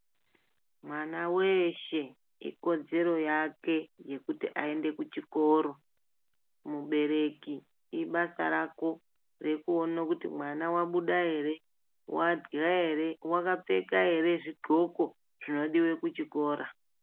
Mwana weshe ikodzero yake yekuti aende kuchikoro. Mubereki ibasa rako rekuono kuti mwana wabuda ere, wadhya ere, wakapfeka ere zvidxoko zvinodiwe kuchikora.